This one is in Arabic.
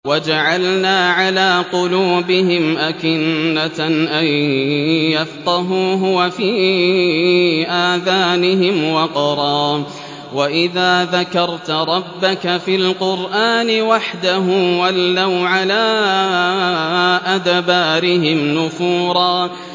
وَجَعَلْنَا عَلَىٰ قُلُوبِهِمْ أَكِنَّةً أَن يَفْقَهُوهُ وَفِي آذَانِهِمْ وَقْرًا ۚ وَإِذَا ذَكَرْتَ رَبَّكَ فِي الْقُرْآنِ وَحْدَهُ وَلَّوْا عَلَىٰ أَدْبَارِهِمْ نُفُورًا